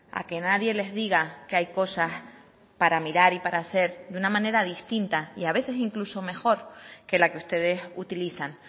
a que nadie les diga que hay cosas para mirar y para hacer de una manera distinta y a veces incluso mejor que la que ustedes utilizan